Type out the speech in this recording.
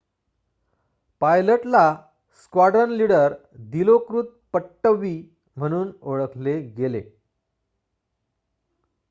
पायलटला squadron leader दिलोकृत पट्टवी म्हणून ओळखले गेले